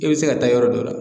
I bɛ se ka taa yɔrɔ dɔ la